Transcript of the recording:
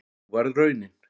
Sú varð raunin